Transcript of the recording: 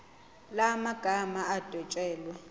la magama adwetshelwe